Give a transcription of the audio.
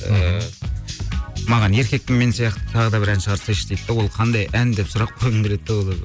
ыыы маған еркекпін мен сияқты тағы да бір ән шығарсайшы дейді де ол қандай ән деп сұрақ қойғым келеді де олардан